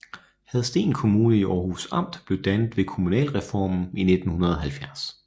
Hadsten Kommune i Århus Amt blev dannet ved kommunalreformen i 1970